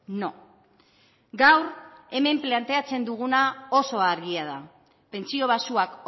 no gaur hemen planteatzen duguna oso argia da pentsio baxuak